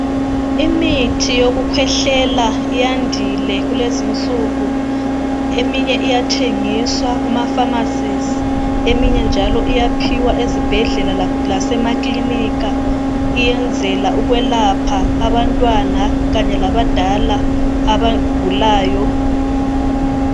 Imithi yokukhwehlela yandile kulezi insuku. Eminye iyathengiswa kumapharmacies. Eminye njalo iyaphiwa ezibhedlela lasemaklinika. Iyenzela ukwelapha abantwana Kanye labadala abagulayo.